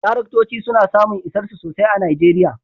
Taraktoci suna samun isarsu sosai a Najeriya